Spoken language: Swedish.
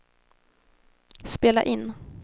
spela in